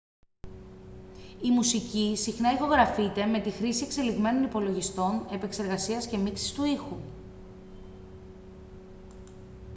η μουσική συχνά ηχογραφείται με τη χρήση εξελιγμένων υπολογιστών επεξεργασίας και μίξης του ήχου